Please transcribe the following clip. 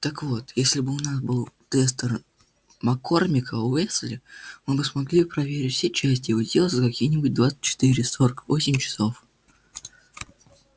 так вот если бы у нас был тестер маккормика-уэсли мы бы смогли проверить все части его тела за какие-нибудь двадцать четыре сорок восемь часов